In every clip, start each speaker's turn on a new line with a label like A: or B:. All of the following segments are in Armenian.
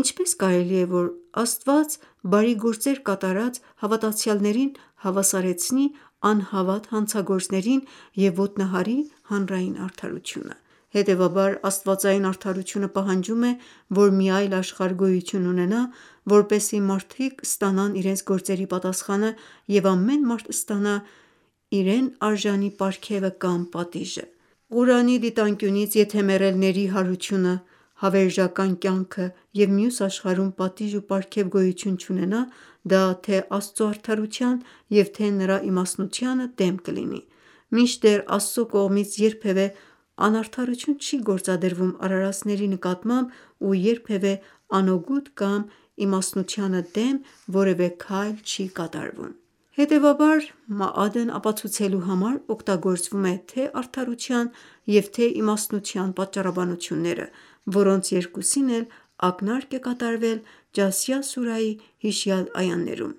A: Ինչպես կարելի է, որ Աստված բարի գործեր կատարած հավատացյալներին հավասարեցնի անհավատ հանցագործներին և ոտնահարի հանրային արդարությունը: Հետևաբար աստվածային արդարությունը պահանջում է, որ մի այլ աշխարհ գոյություն ունենա, որպեսզի մարդիկ ստանան իրենց գործերի պատասխանը և ամեն մարդ ստանա իրենարժանի պարգևը կամ պատիժը: Ղուրանի դիտանկյունից եթե մեռելների հարություն, հավերժական կյանք և մյուս աշխարհում պատիժ ու պարգև գոյություն չունենա դա թե Աստծո արդարության և թե նրա իմաստնության դեմ կլինի: Մինչդեռ Աստծո կողմից երբևե անարդարություն չի գործադրվում արարածների պարագային ու երբևե անօգուտ կամ իմաստնությանը դեմ որևէ քայլ չի կատարում: Հետևաբար «Մաադ»-ն ապացուցելու համար օգտագործվում է, թե արդարության և թե իմաստնության պատճառաբանությունները, որոնց երկուսին էլ ակնարկ է կատարվել «Ջասիա» սուրայի հիշյալ այաներում: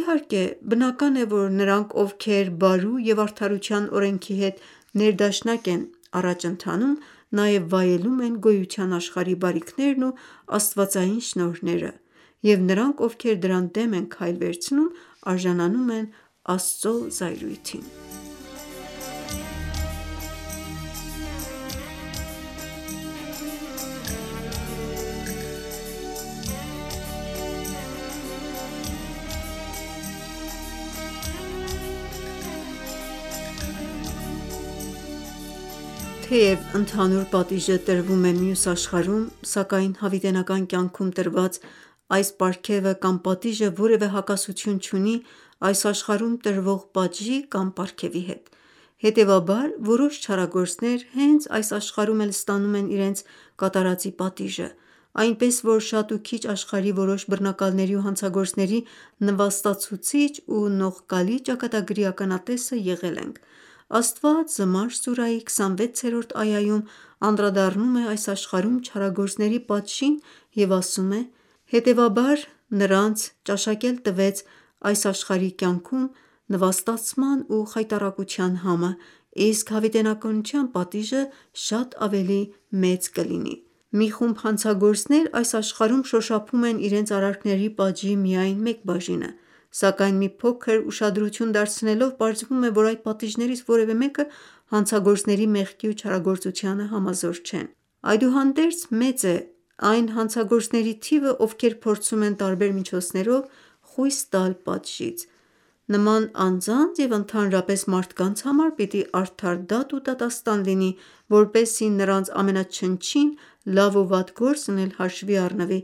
A: Իհարկե բնական է, որ նրանք ովքեր բարու և արդարության օրենքի հետ ներդաշնակ են առաջ ընթանում նաև վայելում են գոյության աշխարհի բարիքներն ու աստվածային շնորհները և նրանք ովքեր դրան դեմ են քայլ վերցնում արժանանում են Աստծո զայրույթին: Թեև ընդհանուր պատիժը տրվում է մյուս աշխարհում, սակայն հավիտենական կյանքում տրված այդ պարգևը կամ պատիժը որևէ հակասություն չունի այս աշխարհում տրվող պատժի կամ պարգևի հետ: Հետևաբար որոշ չարագործներ հենց այս աշխարհում էլ ստանում են իրենց կատարածի պատիժը: Այնպես որ շատ ու քիչ աշխարհի որոշ բռնակալների ու հանցագործների նվաստացուցիչ ու նողկալի ճակատագրի ականատեսը եղել ենք: Աստված «Զմար» սուրայի 26-րդ այաում անդրադառնում է այս աշխարհում չարագործների պատժին և ասում է. «Հետևաբար Աստված նրանց ճաշակել տվեց այս աշխարհի կյանքում նվաստացման ու խայտառակության համը, իսկ հավիտենականության պատիժը շատ ավելի մեծ կլինի»: Մի խումբ հանցագործներ այս աշխարհում շոշափում են իրենց արարքների պատժի միայն մեկ բաժինը, սակայն մի փոքր ուշադրություն դարձնելով պարզվում է, որ այդ պատիժներից որևէ մեկը հանցագործների մեղքի ու չարագործության համազոր չէ: Այդուհանդերձ մեծ է այն հանցագործների թիվը, ովքեր փորձում են տարբեր միջոցներով խույս տալ պատժից: Նման անձանց և ընդհանրապես մարդկանց համար պիտի արդար դատ ու դատաստան լինի, որպեսզի նրանց ամենաչնչին լավ ու վատ գործն էլ հաշվի առնվի,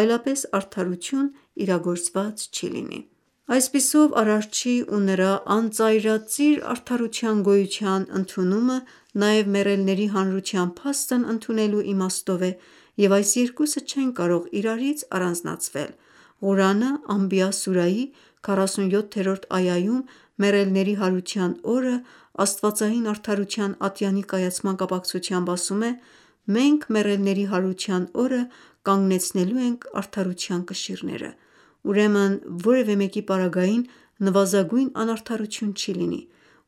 A: այլապես արդարություն իրագործված չի լինի: Այսպիսով Արարչի ու նրա անծայրածիր արդարության գոյության ընդունումը նաև մեռելների հարության փաստն ընդունելու իմաստով է և այս երկուսը չեն կարող իրարից առանձնացվել: Ղուրանը «Անբիա» սուրայի 47-րդ այաում մեռելների հարության օրը աստվածային արդարության ատյանի կայացման կապակցությամբ ասում է. «Մենք մեռելների հարության օրը կանգնեցնելու ենք արդարության կշիռները: Ուրեմն որևէ մեկի պարագային նվազագույն անարդարություն չի լինի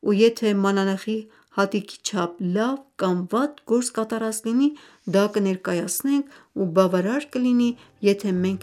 A: ու եթե մանանեխի հատիկի չափ լավ կամ վատ գործ կատարած լինի դա կներկայացնենք ու բավարար կլինի, եթե մենք